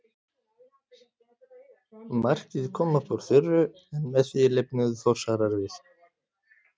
Markið kom upp úr þurru en með því lifnuðu Þórsarar við.